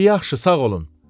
Di yaxşı, sağ olun.